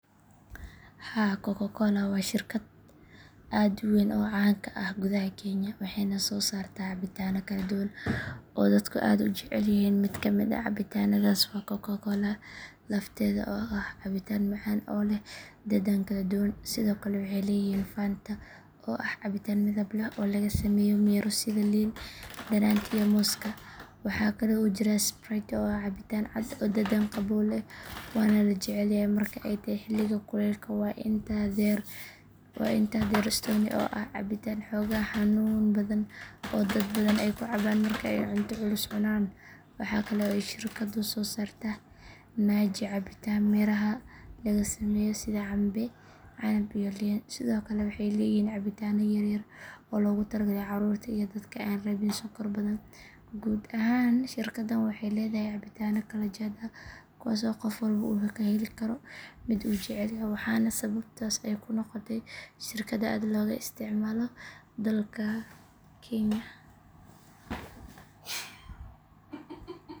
Haa coca cola waa shirkad aad u weyn oo caan ka ah gudaha kenya waxayna soo saartaa cabitaano kala duwan oo dadku aad u jecel yihiin mid ka mid ah cabitaannadaas waa coca cola lafteeda oo ah cabitaan macaan oo leh dhadhan kala duwan sidoo kale waxay leeyihiin fanta oo ah cabitaan midab leh oo laga sameeyo miro sida liin dhanaanta iyo mooska waxaa kale oo jira sprite oo ah cabitaan cad oo dhadhan qabow leh waana la jecel yahay marka ay tahay xilliga kulaylka waxaa intaa dheer stoney oo ah cabitaan xoogaa xanuun badan oo dad badan ay ku cabaan marka ay cunto culus cunaan waxaa kale oo ay shirkaddu soo saartaa maji cabitaan miraha laga sameeyo sida cambe canab iyo liin sidoo kale waxay leeyihiin cabitaano yaryar oo loogu talagalay carruurta iyo dadka aan rabin sonkor badan guud ahaan shirkaddan waxay leedahay cabitaano kala jaad ah kuwaas oo qof walba uu ka heli karo mid uu jecel yahay waxaana sababtaas ay ku noqotay shirkad aad looga isticmaalo dalka kenya.